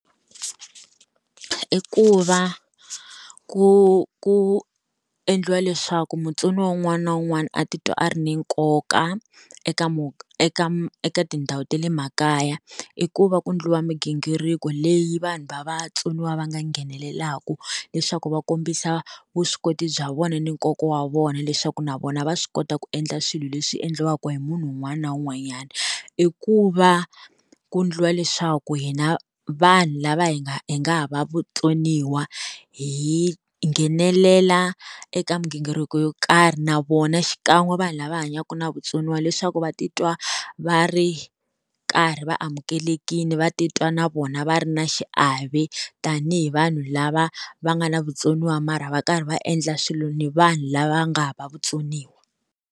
I ku va ku ku endliwa leswaku mutsoniwa wun'wana na wun'wana a titwa a ri ni nkoka eka eka eka tindhawu ta le makaya. I ku va ku endliwa migingiriko leyi vanhu va vatsoniwa va nga nghenelelaka leswaku va kombisa vuswikoti bya vona ni nkoka wa vona leswaku na vona va swi kota ku endla swilo leswi endliwaka hi munhu un'wana na un'wanyana. I ku va ku endliwa leswaku hina vanhu lava hi nga hi nga hava vutsoniwa hi nghenelela eka migingiriko yo karhi na vona xikan'we vanhu lava hanyaka na vutsoniwa, leswaku va titwa va ri karhi va amukelekile va titwa na vona va ri na xiave tanihi vanhu lava va nga na vutsoniwa mara va karhi va endla swilo ni vanhu lava nga hava vutsoniwa.